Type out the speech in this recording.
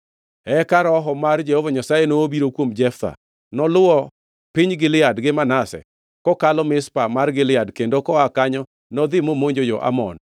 Eka Roho mar Jehova Nyasaye nobiro kuom Jeftha. Noluwo piny Gilead gi Manase, kokalo Mizpa mar Gilead, kendo koa kanyo nodhi momonjo jo-Amon.